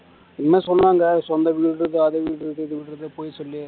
என்னமோ சொன்னாங்க சொந்த வீடு இருக்கு அத வீடு இது இது இருக்குது பொய் சொல்லி